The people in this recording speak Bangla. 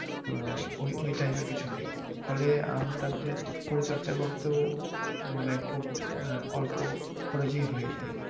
আহ ওই type এর কিছু নেই ফলে আমটাতে পরিচর্চা করতেও মানে খুব আহ অল্প খরচেই হয়ে যায়।